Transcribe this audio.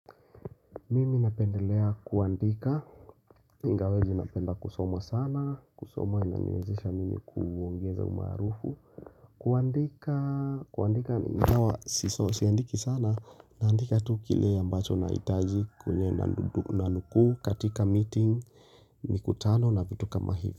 Mimi napendelea kuandika Ingawa zi napenda kusoma sana kusoma inaniwezesha mimi kuongeza umaarufu kuandika kuandika Siso siandiki sana naandika tu kile ambacho na itaji Kunye nanukuu katika meeting mikutano na vitu kama hivi.